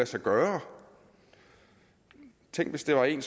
sig gøre tænk hvis det er en